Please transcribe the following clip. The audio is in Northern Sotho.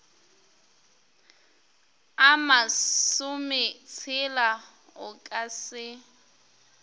a masometshela o ka se